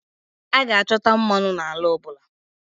A ga-achọta mmanụ n'ala ọ bụla